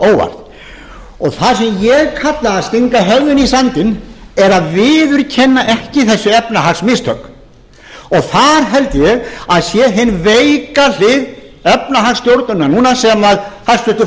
óvart það sem ég kallaði að stinga höfðinu í sandinn er að viðurkenna ekki þessi efnahagsmistök og þar held ég að sé hin veika hlið efnahagsstjórnunarinnar núna sem hæstvirtur